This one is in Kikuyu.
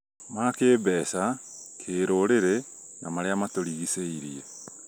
ma kĩmbeca , kĩĩrũrĩrĩ, na marĩa matũrigicĩirie